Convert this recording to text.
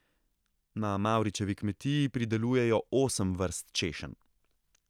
Na Mavričevi kmetiji pridelujejo osem vrst češenj.